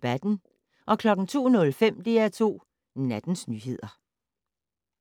02:05: DR2 Nattens nyheder